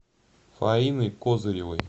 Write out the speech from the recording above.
фаины козыревой